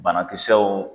Banakisɛw